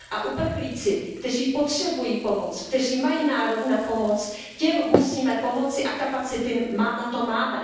Uprchlíci, kteří potřebují pomoc, kteří mají nárok na pomoc, těm musíme pomoci a kapacity na to máme.